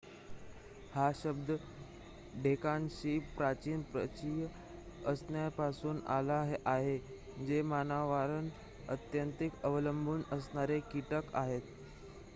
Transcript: हा शब्द ढेकणाशी प्राचीन परिचय असण्यापासून आला आहे जे मानवांवर अत्यंतिक अवलंबून असणारे कीटक आहेत